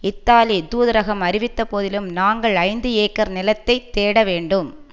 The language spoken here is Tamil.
இத்தாலி தூதரகம் அறிவித்த போதிலும் நாங்கள் ஐந்து ஏக்கர் நிலத்தை தேட வேண்டும்